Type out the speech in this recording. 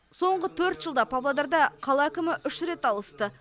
соңғы төрт жылда павлодарда қала әкімі үш рет ауысты